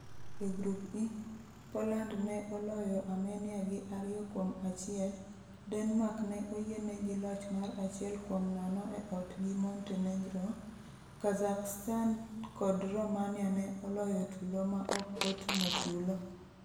E Grup E, Poland ne oloyo Armenia gi 2-1, Denmark ne oyienegi loch mar 1-0 e ot gi Montenegro, Kazakhstan kod Romania ne oloyo tulo ma ok otumo tulo.